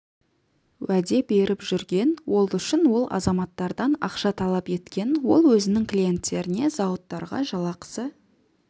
уәде беріп жүрген ол үшін ол азаматтардан ақша талап еткен ол өзінің клиенттеріне зауыттарға жалақысы